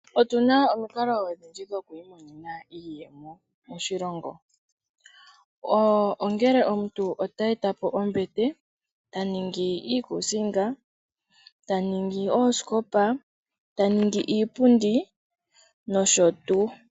Otuna omikalo odhindji dhoku imonena iiyemo moshilongo. Ongele omuntu ta eta po ombete, ta ningi iikuusinga, ta ningi oosikopa, ta ningi iipundi nosho tuu.